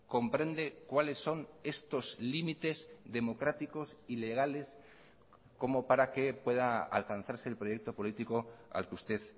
comprende cuáles son estos límites democráticos y legales como para que pueda alcanzarse el proyecto político al que usted